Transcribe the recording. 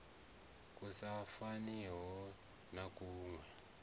ku sa faniho na kuwe